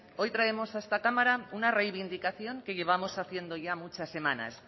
hoy traemos a esta cámara una reivindicación que llevamos haciendo ya muchas semanas